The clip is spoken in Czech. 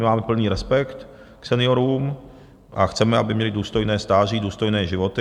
My máme plný respekt k seniorům a chceme, aby měli důstojné stáří, důstojné životy.